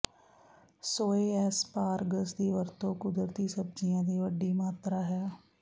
ਸੋਏ ਐਸਪਾਰਗਸ ਦੀ ਵਰਤੋਂ ਕੁਦਰਤੀ ਸਬਜ਼ੀਆਂ ਦੀ ਵੱਡੀ ਮਾਤਰਾ ਹੈ